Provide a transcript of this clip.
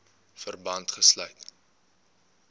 verband gesluit